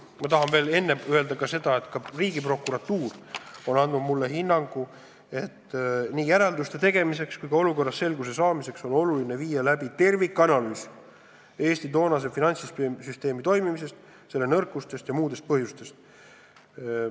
" Ma tahan kõigepealt öelda, et ka Riigiprokuratuur on andnud mulle hinnangu, et nii järelduste tegemiseks kui ka olukorras selguse saamiseks on oluline viia läbi tervikanalüüs Eesti toonase finantssüsteemi toimimisest, selle nõrkustest ja muudest asjaoludest.